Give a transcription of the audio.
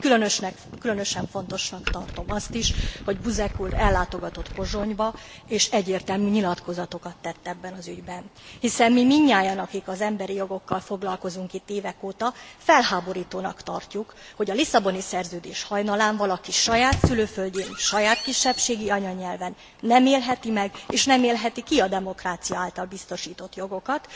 Így különösen fontosnak tartom azt is, hogy Buzek úr ellátogatott Pozsonyba, és egyértelmű nyilatkozatokat tett ebben az ügyben, hiszen mi mindnyájan akik az emberi jogokkal foglalkozunk itt évek óta felháborítónak tartjuk, hogy a Lisszaboni Szerződés hajnalán valaki saját szülőföldjén, saját kisebbségi anyanyelvén nem élheti meg és nem élheti ki a demokrácia által biztosított jogokat.